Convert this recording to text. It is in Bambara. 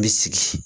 N bɛ sigi